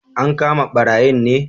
An kama ɓarayin ne